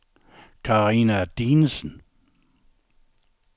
Carina Dinesen